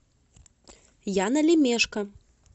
яна лемешко